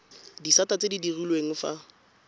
disata tse di direlwang fa